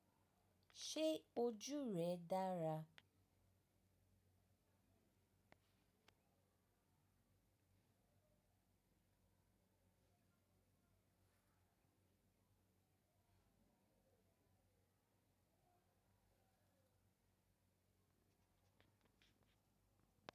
Ṣé ojú rẹ dára?